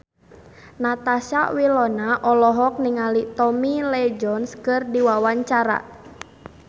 Natasha Wilona olohok ningali Tommy Lee Jones keur diwawancara